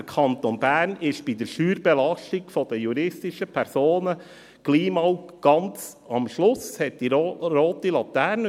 Der Kanton Bern ist bei der Steuerbelastung der juristischen Personen bald einmal ganz am Schluss, er hat die rote Laterne.